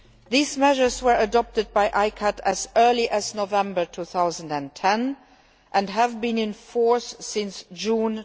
These measures were adopted by ICCAT as early as November 2010, and have been in force since June